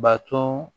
Baton